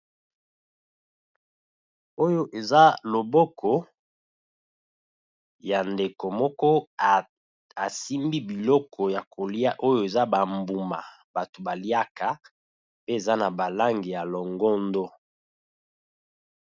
Oyo eza loboko ya ndeko moko a simbi biloko ya kolia oyo eza ba mbuma batu ba liaka pe eza na ba langi ya longondo .